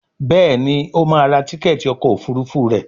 Béèni o má rà rà Tíkẹ́ẹ̀tì ọkọ̀ òfurufú rẹ.